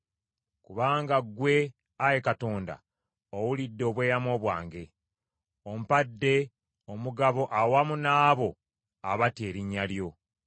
Kubanga ggwe, Ayi Katonda, owulidde obweyamo bwange: ompadde omugabo awamu n’abo abatya erinnya lyo.